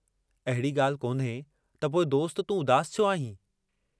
अहिड़ी गाल्हि कोन्हे त पोइ दोस्त तूं उदासु छो आहीं।